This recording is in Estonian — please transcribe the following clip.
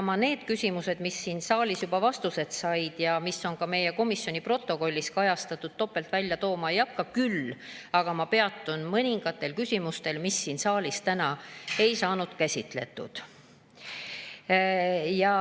Ma neid küsimusi, mis siin saalis juba vastused said ja mis on ka meie komisjoni protokollis kajastatud, topelt välja tooma ei hakka, küll aga peatun mõningatel küsimustel, mida siin saalis täna ei käsitletud.